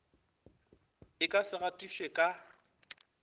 e ka se gatišwe ka